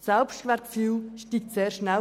Das Selbstwertgefühl steigt sehr schnell.